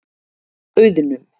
Auðnum